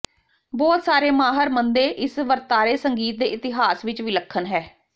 ਬਹੁਤ ਸਾਰੇ ਮਾਹਰ ਮੰਨਦੇ ਇਸ ਵਰਤਾਰੇ ਸੰਗੀਤ ਦੇ ਇਤਿਹਾਸ ਵਿਚ ਵਿਲੱਖਣ ਹੈ